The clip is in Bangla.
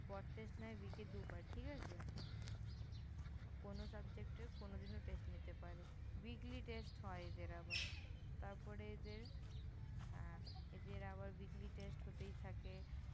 Word Test নেয় Week -এ দুবার, ঠিক আছে? কোনো Subject এর কোনো দিনও Test নিতে পারে। weekly Test হয় এদের আবার। তারপরে এদের, আহ এদের আবার Weekly Test হতেই থাকে।